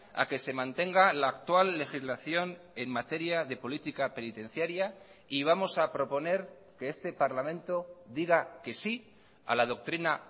a que se mantenga la actual legislación en materia de política penitenciaria y vamos a proponer que este parlamento diga que sí a la doctrina